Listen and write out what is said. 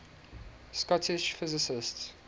scottish physicists